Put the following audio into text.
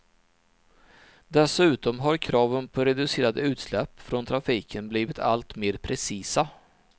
Dessutom har kraven på reducerade utsläpp från trafiken blivit alltmer precisa.